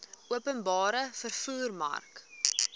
openbare vervoer mark